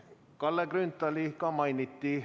Kalle Grünthali samuti mainiti.